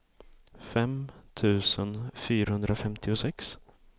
fem tusen fyrahundrafemtiosex